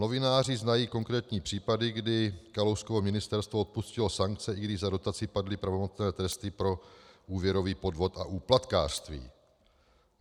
Novináři znají konkrétní případy, kdy Kalouskovo ministerstvo odpustilo sankce, i když za dotaci padly pravomocné tresty pro úvěrový podvod a úplatkářství.